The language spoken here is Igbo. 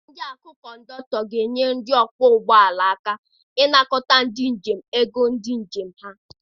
Ndị na akụ cọndọkụtọ ga-enyere ndị ọkpọ ụgbọala aka ịnakọta ndị njem ego njem ha.